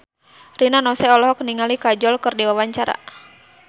Rina Nose olohok ningali Kajol keur diwawancara